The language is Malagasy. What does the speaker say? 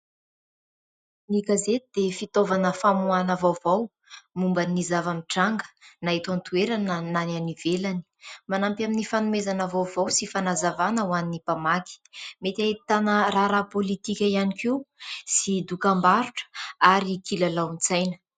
Ny gazety dia fitaovana famoahana vaovao momba ny zava-mitranga na eto antoerana na any ivelany. Manampy amin'ny fanomezana vaovao sy fanazavana ho an'ny mpamaky. Mety ahitana raharaha politika ihany koa sy dokambarotra ary kilalaon-tsaina.